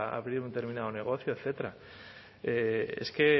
abrir un determinado negocio etcétera es que